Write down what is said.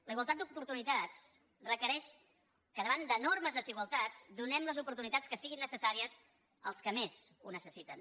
la igualtat d’oportunitats requereix que davant d’enormes desigualtats donem les oportunitats que siguin necessàries als que més ho necessiten